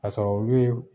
Ka sɔrɔ olu ye